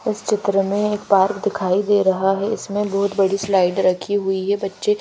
इस चित्र में एक पार्क दिखाई दे रहा है इसमें बहुत बड़ी स्लाइड रखी हुई है बच्चे--